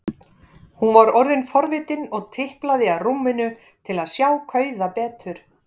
Hún var orðin forvitin og tiplaði að rúminu til að sjá kauða betur.